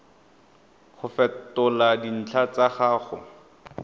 go fetola dintlha tsa gago